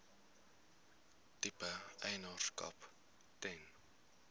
tipe eienaarskap ten